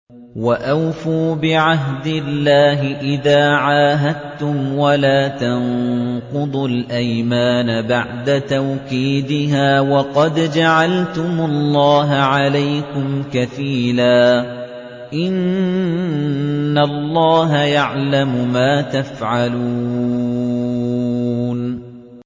وَأَوْفُوا بِعَهْدِ اللَّهِ إِذَا عَاهَدتُّمْ وَلَا تَنقُضُوا الْأَيْمَانَ بَعْدَ تَوْكِيدِهَا وَقَدْ جَعَلْتُمُ اللَّهَ عَلَيْكُمْ كَفِيلًا ۚ إِنَّ اللَّهَ يَعْلَمُ مَا تَفْعَلُونَ